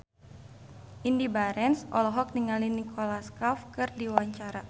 Indy Barens olohok ningali Nicholas Cafe keur diwawancara